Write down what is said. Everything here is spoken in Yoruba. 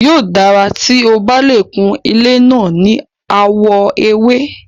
Yóò dára tí o bá lè kun ilé náà ní àwọ̀ ewé.